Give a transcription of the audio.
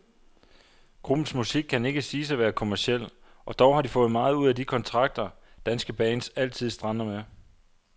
Gruppens musik kan ikke siges at være kommerciel, og dog har de fået meget ud af de kontrakter, danske bands altid strander med.